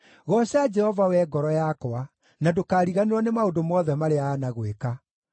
Gooca Jehova, wee ngoro yakwa, na ndũkariganĩrwo nĩ maũndũ mothe marĩa aanagwĩka: